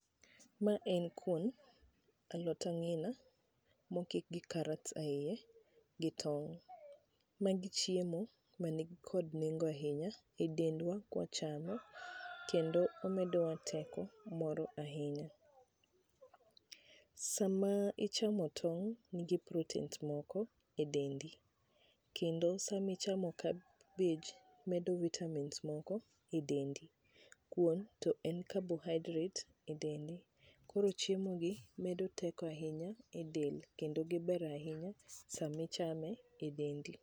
Ma en kuon ga alot ang'ina mokik gi carrots e ie gi tong'. Magi chiemo ma ni kod nengo ahinya e dendwa kwa chamo kendo omedo wa teko moro ahinya. Sama ichamo tong', nigi proteins moko e dendi. Kendo sama ichamo cabbage medo vitamins moko e dendi. Kuon to en carbohydrate e dendi. Koro chiemo gi medo teko ahinya e del kendo giber ahinya sami ichame e dendi.